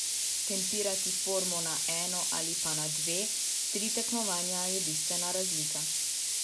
Tempirati formo na eno ali pa na dva, tri tekmovanja je bistvena razlika.